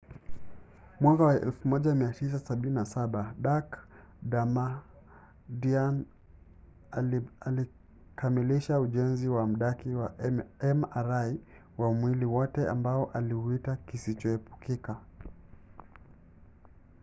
mwaka wa 1977 dak. damadian alikamilisha ujenzi wa mdaki wa mri wa mwili wote ambao aliuita kisicho epukika